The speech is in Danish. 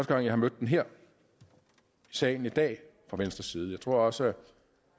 gang jeg har mødt den her i salen i dag fra venstres side jeg tror også